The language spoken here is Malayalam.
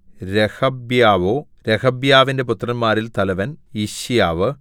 രെഹബ്യാവോ രെഹബ്യാവിന്റെ പുത്രന്മാരിൽ തലവൻ യിശ്യാവു